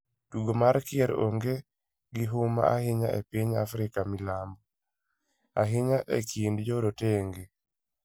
Tugo mar kier onge gihuma ahinya epiny Afrika milambo, ahinya e kind jorotenge